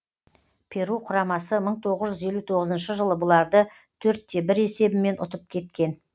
перу құрамасы мың тоғыз жүз елу тоғызыншы жылы бұларды төрт те бір есебімен ұтып кеткен